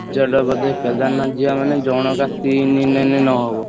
Z ବୋଧେ କେଦାରନାଥ ଯିବା ମାନେ ଜଣକା ତିନି ନେଲେ ନହବ।